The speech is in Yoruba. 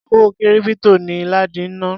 Owó kírípítò ni ládi ń ná.